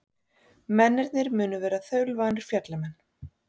Mennirnir munu vera þaulvanir fjallamenn